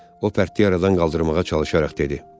O pərtliyi aradan qaldırmağa çalışaraq dedi.